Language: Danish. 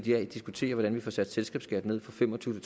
i dag diskuterer hvordan vi får sat selskabsskatten ned fra fem og tyve